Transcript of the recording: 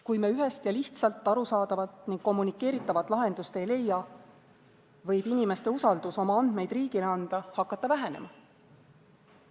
Kui me ühest ja lihtsalt arusaadavat ning kommunikeeritavat lahendust ei leia, võib inimeste usaldus oma andmeid riigile anda hakata vähenema.